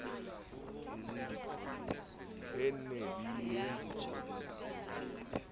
he di ne di ye